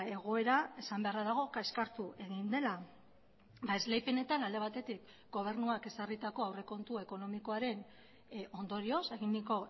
egoera esan beharra dago kaskartu egin dela esleipenetan alde batetik gobernuak ezarritako aurrekontu ekonomikoaren ondorioz eginiko